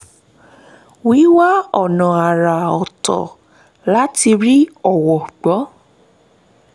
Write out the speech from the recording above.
wíwá ọ̀nà àrà ọ̀tọ̀ láti rí owó gbọ́